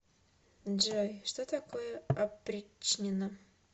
джой что такое опричнина